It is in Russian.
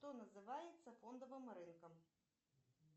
что называется фондовым рынком